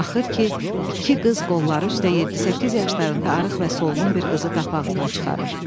Axır ki, iki qız qolları üstə 7-8 yaşlarında arıq və solğun bir qızı qapı ağzına çıxarır.